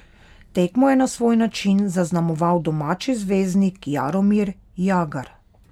Tekmo je na svoj način zaznamoval domači zvezdnik Jaromir Jagr.